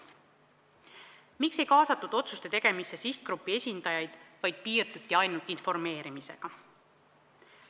Miks ei kaasatud otsuste tegemisse sihtgrupi esindajaid, vaid piirduti ainult informeerimisega?